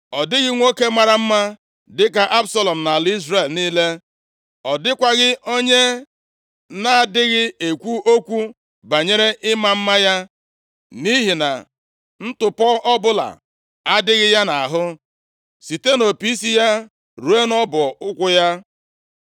Ọ dịghị nwoke mara mma dịka Absalọm nʼala Izrel niile. Ọ dịkwaghị onye na-adịghị ekwu okwu banyere ịma mma ya. Nʼihi na ntụpọ ọbụla adịghị ya nʼahụ site nʼopi isi ya ruo nʼọbọ ụkwụ ya.